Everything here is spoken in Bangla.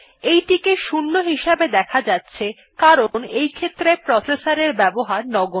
এইটিকে 0 হিসেবে দেখা যাচ্ছে কারণ এইক্ষেত্রে প্রসেসর এর ব্যবহার নগন্য